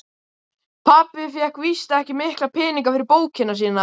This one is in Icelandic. Pabbi fékk víst ekki mikla peninga fyrir bókina sína.